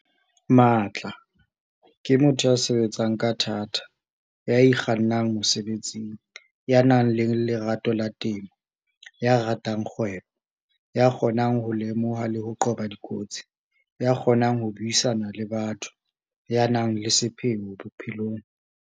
Matla- ke motho ya sebetsang ka thata, ya ikgannang mosebetsing, ya nang le lerato la temo, ya ratang kgwebo, ya kgonang ho lemoha le ho qoba dikotsi, ya kgonang ho buisana le batho, ya nang le sepheo bophelong.